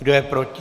Kdo je proti?